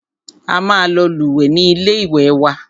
A máa lọ lúwẹ̀ẹ́ ní ilé ìwé wa.